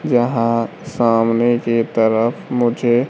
जहां सामने की तरफ मुझे--